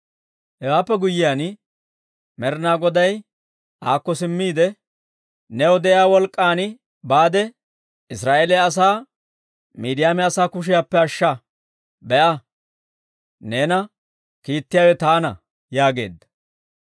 Hewaappe guyyiyaan Med'inaa Goday aakko simmiide, «New de'iyaa wolk'k'an baade, Israa'eeliyaa asaa Miidiyaama asaa kushiyaappe ashsha. Be'a, neena kiittiyaawe taana» yaageedda.